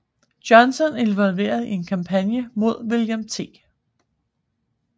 Johnston involveret i en kampagne mod William T